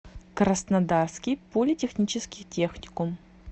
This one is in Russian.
краснодарский политехнический техникум